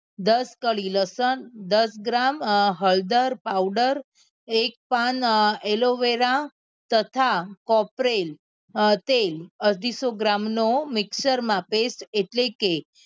દસ કળી લસણ દસ ગ્રામ હળદર powder એક પાન aloe vera તથા ખોપરેલ તેલ અઢીસો ગ્રામ નો mixture માં pest એટલે કે